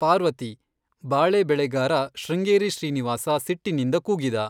ಪಾರ್ವತಿ,' ಬಾಳೆ ಬೆಳೆಗಾರ ಶೃಂಗೇರಿ ಶ್ರೀನಿವಾಸ ಸಿಟ್ಟಿನಿಂದ ಕೂಗಿದ.